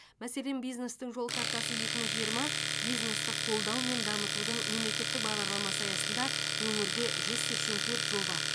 мәселен бизнестің жол картасы екі мың жиырма бизнесті қолдау мен дамытудың мемлекеттік бағдарламасы аясында өңірде жүз сексен төрт жоба